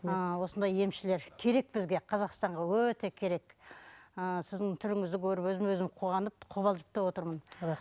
ыыы осындай емшілер керек бізге қазақстанға өте керек ы сіздің түріңізді көріп өзім өзім қуанып қобалжып та отырмын